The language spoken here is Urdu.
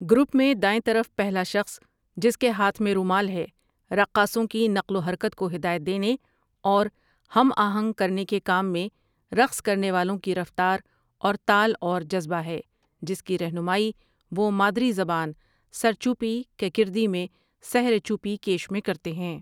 گروپ میں دائیں طرف پہلا شخص جس کے ہاتھ میں رومال ہے رقاصوں کی نقل و حرکت کو ہدایت دینے اور ہم آہنگ کرنے کے کام میں رقص کرنے والوں کی رفتار اور تال اور جذبہ ہے جس کی رہنمائی وہ مادری زبان سَرچُوپی کِ کردی میں سه ر چۆپی کێش میں کرتے ہیں ۔